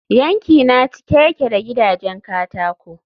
yankina cike yake da gidajen katako